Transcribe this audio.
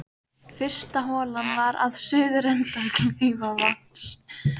Fyrsta holan var við suðurenda Kleifarvatns.